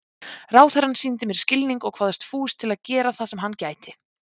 Ráðherrann sýndi mér skilning og kvaðst fús til að gera það sem hann gæti.